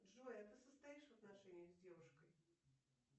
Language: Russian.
джой а ты состоишь в отношениях с девушкой